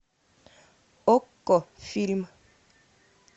окко фильм